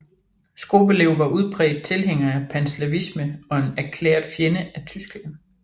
Skobelev var udpræget tilhænger af panslavisme og en erklæret fjende af Tyskland